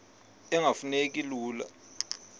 engafuma neki lula